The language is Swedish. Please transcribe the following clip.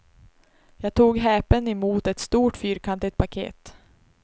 Jag tog häpen emot ett stort, fyrkantigt paket.